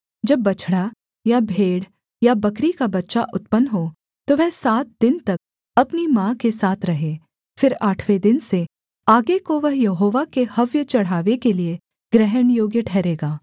जब बछड़ा या भेड़ या बकरी का बच्चा उत्पन्न हो तो वह सात दिन तक अपनी माँ के साथ रहे फिर आठवें दिन से आगे को वह यहोवा के हव्य चढ़ावे के लिये ग्रहणयोग्य ठहरेगा